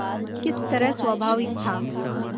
किस तरह स्वाभाविक था